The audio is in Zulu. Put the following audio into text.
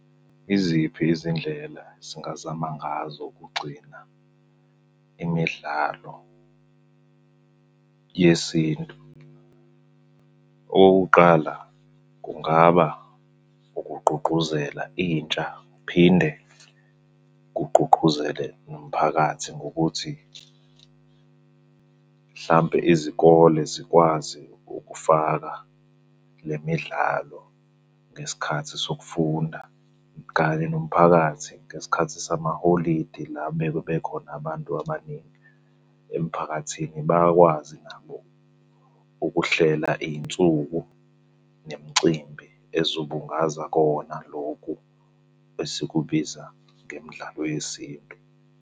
Yiziphi izindlela singazama ngazo ukugcina imidlalo yesintu? Okokuqala, kungaba ukugqugquzela intsha phinde kugqugquzele nomphakathi ngokuthi mhlampe izikole zikwazi ukufaka le midlalo ngesikhathi sokufunda kanye nomphakathi ngesikhathi samaholide, la bekhona abantu abaningi emphakathini. Bakwazi nabo ukuhlela iy'nsuku nemicimbi ezobungaza kona lokhu esikubiza ngemidlalo yesintu.